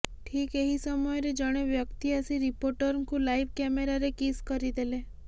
ଠିକ୍ ଏହି ସମୟରେ ଜଣେ ବ୍ୟକ୍ତି ଆସି ରିପୋର୍ଟରଙ୍କୁ ଲାଇଭ୍ କ୍ୟାମେରାରେ କିସ୍ କରିଦେଲେ